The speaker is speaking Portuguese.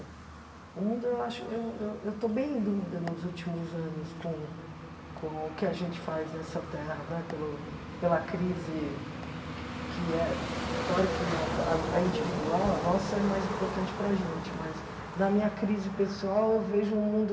O mundo, eu acho eu eu eu estou bem em dúvida nos últimos anos com com o que a gente faz nessa terra né, pelo pela crise que é... Claro que a a a individual, a nossa, é mais importante para a gente, mas na minha crise pessoal eu vejo um mundo...